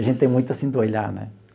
A gente tem muito assim do olhar, né?